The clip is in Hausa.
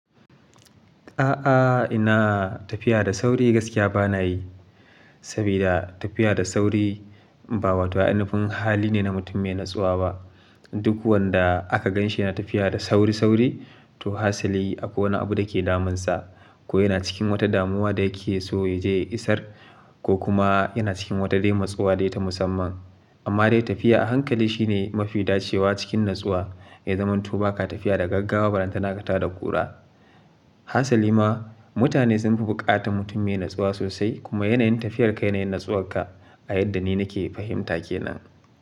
A'a, ina tafiya da sauri gaskiya bana yi. Saboda tafiya da sauri ba wato a'ina fin hali ne na mutum mai natsuwa ba. Duk wanda aka ganshi yana tafiya da sauri-sauri, to hasali akwai wani abu da ke damunsa, ko yana cikin wata damuwa da yake so ya je isar, ko kuma yana cikin wata dai matsuwa dai ta musamman. Amma dai tafiya a hankali shine mafi dacewa cikin natsuwa, ya zamanto ba ka tafiya da gaggawa ba ran ta naka ta da ƙura. Hasali ma mutane sun fi buƙatan mutum mai natsuwa sosai kuma yanayin tafiyar ka yanayin nitsuwarka a yadda ni nake fahimta ke nan.